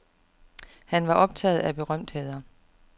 Han var optaget af berømtheder.